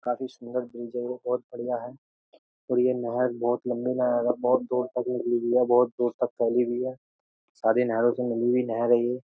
काफी सुंदर ब्रिज है ये बोहोत बढ़िया है और ये नहर बोहोत लंबी नहर है बोहोत दूर तक निकली हुई है बोहोत दूर तक फैली हुई है। सारी नहरों से मिली हुई नहर है ये।